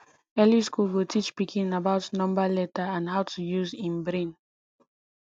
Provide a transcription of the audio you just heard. early school go teach pikin about number letter and how to use em brain